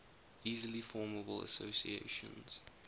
easily formable associations